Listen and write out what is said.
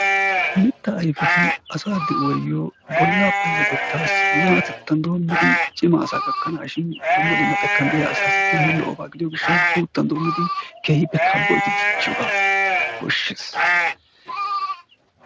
Mittaa ayfeti asaa de"uwayyo bollaa payyatettaassi na"atettan doommidi cima asaa gakkanaashin dumma dumma xekkan de"iya asaassi keehi lo"oba gidiyo gishshawu guuttan doommidi keehippe kabnyidi dichchiyogaa koshshes.